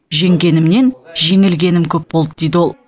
жеңгенімнен жеңілгенім көп болды дейді ол